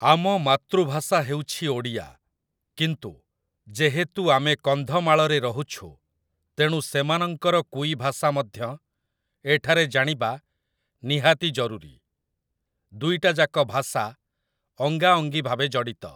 ଆମ ମାତୃଭାଷା ହେଉଛି ଓଡ଼ିଆ, କିନ୍ତୁ, ଯେହେତୁ ଆମେ କନ୍ଧମାଳରେ ରହୁଛୁ ତେଣୁ ସେମାନଙ୍କର କୁଇ ଭାଷା ମଧ୍ୟ ଏଠାରେ ଜାଣିବା ନିହାତି ଜରୁରୀ । ଦୁଇଟା ଯାକ ଭାଷା ଅଙ୍ଗାଅଙ୍ଗୀ ଭାବେ ଜଡ଼ିତ ।